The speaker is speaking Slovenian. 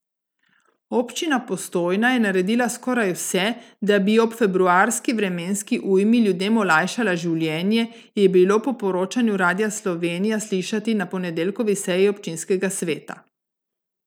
Občina Postojna je naredila skoraj vse, da bi ob februarski vremenski ujmi ljudem olajšala življenje, je bilo po poročanju Radia Slovenija slišati na ponedeljkovi seji občinskega sveta.